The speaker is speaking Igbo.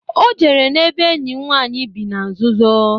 O jere n'ebe enyi m nwanyị bị na nzuzo.